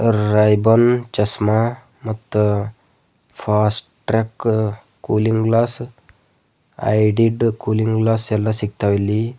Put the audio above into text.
Ray Ban ಚಸ್ಮಾ ಮತ್ತ Fastrack cooling glass ಐಡಿಡ್ಡ ಕೂಲಿಂಗ್ ಗ್ಲಾಸ್ ಎಲ್ಲಾ ಸಿಗ್ತಾವ ಇಲ್ಲಿ.